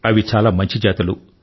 అవి చాలా మంచి జాతులు